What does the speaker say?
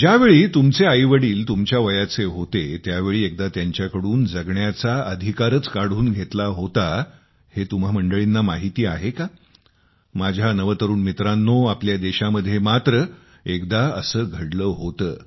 ज्यावेळी तुमचे आईवडील तुमच्या वयाचे होते त्यावेळी एकदा त्यांच्याकडून जगण्याचा अधिकारच काढून घेतला होता हे तुम्हा मंडळींना माहिती आहे का माझ्या नवतरूण मित्रांनो आपल्या देशामध्ये मात्र एकदा असे घडले होते